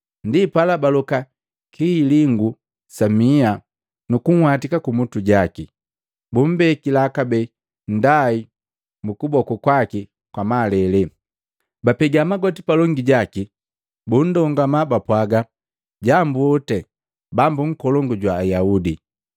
Ndipala baloka kihilingu sa miha, nukunhwatika kumutu jaki, bumbekila kabee nndai mu kuboku kwaki kwa malele. Bapega magoti palongi jaki, bundongama bapwaaga, “Jambu oti Bambu nkolongu jwa Ayaudi!”